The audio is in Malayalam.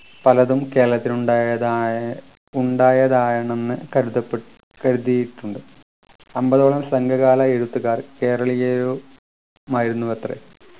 പലതും കേരളത്തിൽ ഉണ്ടായതായാണ് ഉണ്ടായതാണെന്ന് കരുതപ്പെ കരുതിയിട്ടുണ്ട് അമ്പതോളം സംഘകാല എഴുത്തുകാർ കേരളീയരും മായിരുന്നുവത്രേ